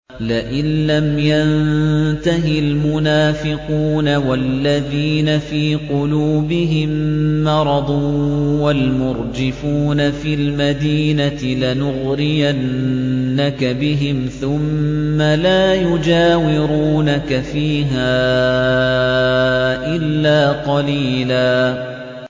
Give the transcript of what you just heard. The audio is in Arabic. ۞ لَّئِن لَّمْ يَنتَهِ الْمُنَافِقُونَ وَالَّذِينَ فِي قُلُوبِهِم مَّرَضٌ وَالْمُرْجِفُونَ فِي الْمَدِينَةِ لَنُغْرِيَنَّكَ بِهِمْ ثُمَّ لَا يُجَاوِرُونَكَ فِيهَا إِلَّا قَلِيلًا